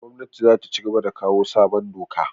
Gwamnatin zata cigaba da kawo sabon doka